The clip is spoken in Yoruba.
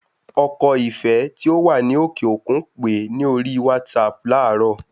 Ọkọ Ìfẹ́ tí ó wà ní òkè òkun pèé ní orí WhatsApp láàrọ